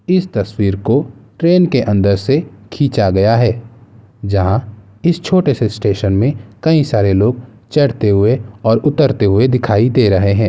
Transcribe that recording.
इस तस्वीर को ट्रैन के अंदर से खींचा गया है जहाँ इस छोटे से स्टेशन में कई सारे लोग चढ़ते हुए और उतरते हुए दिखाई दे रहे है।